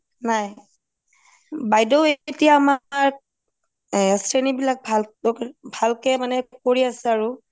নাই বাইদেউ এতিয়া আমাৰ শ্ৰেণী বিলাক ভালকে মানে কৰি আছে আৰু